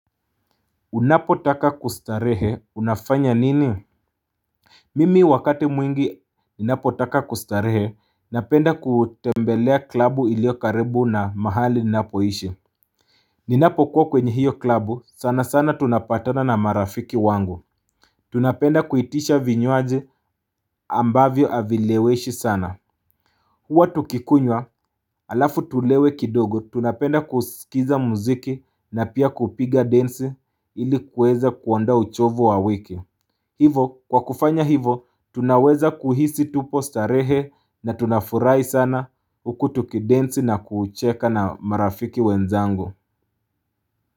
Unapotaka kustarehe unafanya nini Mimi wakati mwingi ninapotaka kustarehe napenda kutembelea klabu ilio karibu na mahali ninapoishi Ninapokuwa kwenye hiyo klabu sana sana tunapatana na marafiki wangu Tunapenda kuitisha vinywaji ambavyo havi leweshi sana Huwa tukikunywa alafu tulewe kidogo tunapenda kusikiza mziki na pia kupiga dance ili kuweza kuoandoa uchovu wa wiki Hivo, kwa kufanya hivo, tunaweza kuhisi tupo starehe na tunafurahi sana Hku tukidensi na kucheka na marafiki wenzangu.